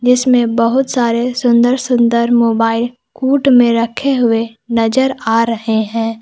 जिसमें बहुत सारे सुंदर सुंदर मोबाइल कूट में रखे हुए नजर आ रहे हैं।